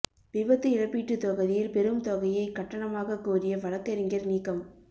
விபத்து இழப்பீட்டுத் தொகையில் பெரும் தொகையை கட்டணமாகக் கோரிய வழக்குரைஞா் நீக்கம்